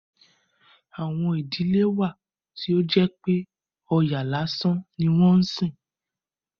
Àwọn ìdílé wà tí ó jẹ́ pé Ọya lásán ni wọ́n ń sìn.